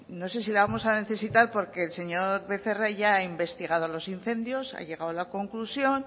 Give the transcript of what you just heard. no sé si la vamos a necesitar porque el señor becerra ya ha investigado los incendios ha llegado a la conclusión